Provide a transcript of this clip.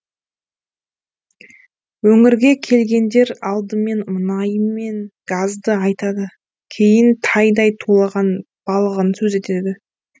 өңірге келгендер алдымен мұнайы мен газды айтады кейін тайдай тулаған балығын сөз етеді